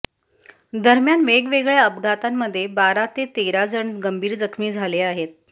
दरम्यान वेगवेगळ्या अपघातांमध्ये बारा ते तेरा जण गंभीर जखमी झाले आहेत